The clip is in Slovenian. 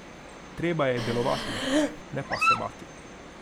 Treba je delovati, ne pa se bati.